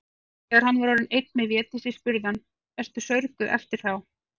Þegar hann var orðinn einn með Védísi spurði hann:-Ertu saurguð eftir þá.